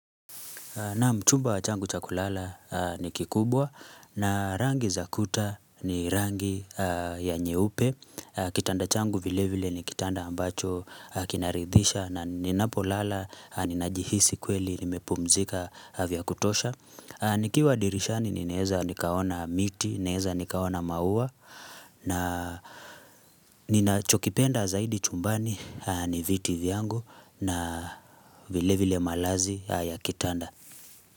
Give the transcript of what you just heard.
Naam chumba changu cha kulala ni kikubwa na rangi zakuta ni rangi ya nyeupe. Kitanda changu vile vile ni kitanda ambacho kinaridhisha na ninapo lala ninajihisi kweli nimepumzika vya kutosha. Nikiwa dirishani ninaeza nikaona miti, naweza nikaona maua na nina chokipenda zaidi chumbani ni viti vyangu na vile vile malazi ya kitanda.